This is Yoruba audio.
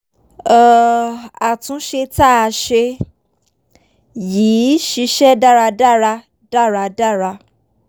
um àtúnṣe tá a ṣe yìí ṣiṣẹ́ dáradára dáradára